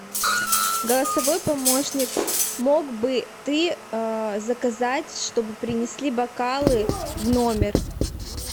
голосовой помощник мог бы ты заказать чтобы принесли бокалы в номер